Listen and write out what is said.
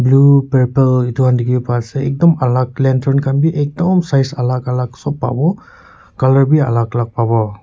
blue purple etu khan dikhi pa ase ekdom alak khan bi ekdom size alak alak sop pawo colour bi alak alak pawo.